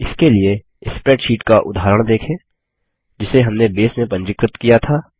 इसके लिए स्प्रैडशीट का उदाहरण देखें जिसे हमने बेस में पंजीकृत किया था